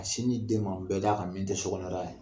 sin di den ma bɛda kan min tɛ sokɔnɔ yɔrɔ ye.